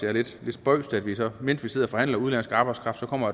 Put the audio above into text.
er lidt spøjst at mens vi sidder og forhandler udenlandsk arbejdskraft så kommer